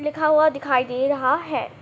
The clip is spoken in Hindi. लिखा हुआ दिखाई दे रहा है।